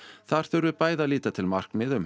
þar þurfi bæði að líta til markmiða um